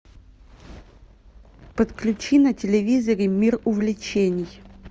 подключи на телевизоре мир увлечений